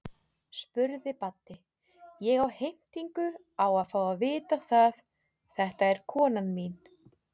spurði Baddi, ég á heimtingu á að fá að vita það, þetta er konan mín.